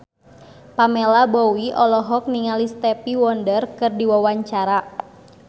Pamela Bowie olohok ningali Stevie Wonder keur diwawancara